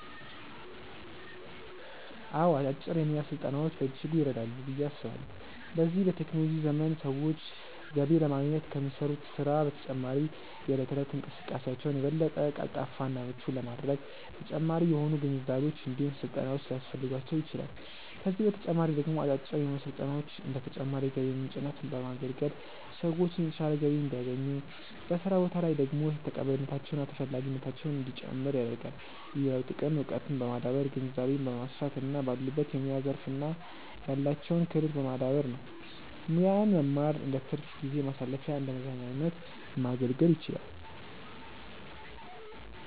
አዎ አጫጭር የሙያ ስልጠናዎች በእጅጉ ይረዳሉ ብዬ አስባለሁ። በዚህ በቴክኖሎጂ ዘመን ሰዎች ገቢ ለማግኘት ከሚሰሩት ስራ በተጨማሪ የእለት ተእለት እንቅስቃሴያቸውን የበለጠ ቀልጣፋ እና ምቹ ለማድረግ ተጨማሪ የሆኑ ግንዛቤዎች እንዲሁም ስልጠናዎች ሊያስፈልጓቸው ይችላል፤ ከዚህ በተጨማሪ ደግሞ አጫጭር የሙያ ስልጠናዎች እንደ ተጨማሪ የገቢ ምንጭነት በማገልገል ሰዎችን የተሻለ ገቢ እንዲያገኙ፤ በስራ ቦታ ላይ ደግሞ ተቀባይነታቸው እና ተፈላጊነታቸው እንዲጨምር ያደርጋል። ሌላው ጥቅም እውቀትን በማዳበር ግንዛቤን ማስፋት እና ባሉበት የሙያ ዘርፍ ላይ ያላቸውን ክህሎት ማዳበር ነው። ሙያን መማር እንደትርፍ ጊዜ ማሳለፊያና እንደመዝናኛነት ማገልገል ይችላል።